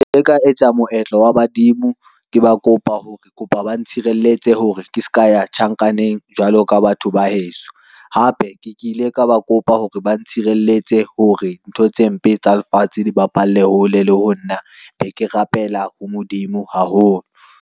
Ka etsa moetlo wa badimo, ke ba kopa hore kopa ba ntshireletse hore ke ska ya tjhankaneng jwalo ka batho ba heso, hape ke ke ile ka ba kopa hore ba ntshireletse hore ntho tse mpe tsa lefatshe dibapale hole le ho nna. Be ke rapela Modimo haholo.